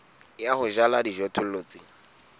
ya ho jala dijothollo tse